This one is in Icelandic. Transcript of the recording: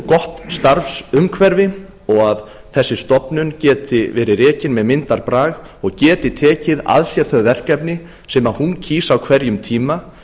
gott starfsumhverfi og að þessi stofnun geti verið rekin með myndarbrag og geti tekið að sér þau verkefni sem hún kýs á hverjum tíma